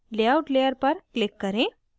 layout layer पर click करें